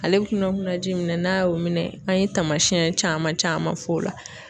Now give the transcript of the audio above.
Ale bɛ kunna kunna ji minɛ, n'a y'o minɛ an ye tamasiyɛn caman caman f'o la.